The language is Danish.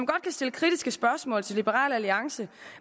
kan stille kritiske spørgsmål til liberal alliance